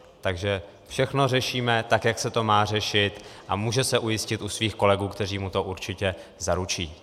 Takže všechno řešíme tak, jak se to má řešit, a může se ujistit u svých kolegů, kteří mu to určitě zaručí.